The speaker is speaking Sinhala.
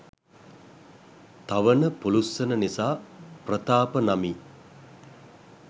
තවන පුළුස්සන නිසා ප්‍රතාප නමි.